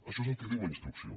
això és el que diu la instrucció